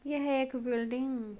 ये है एक बिल्डिंग --